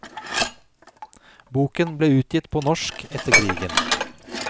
Boken ble utgitt på norsk etter krigen.